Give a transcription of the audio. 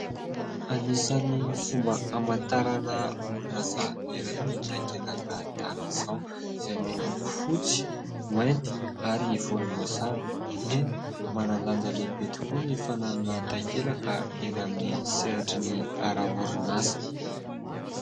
Anisany fomba hamantarana orinasa iray ny takelaka tahaka izao, izay miloko fotsy mainty ary volomboasary. Eny manandanja lehibe tokoa ny fananana takelaka eny amin'ny seratry ny ara-orinasa.